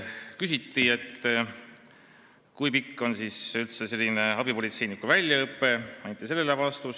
Küsiti, kui pikk on üldse abipolitseiniku väljaõpe, ja sellele anti vastus.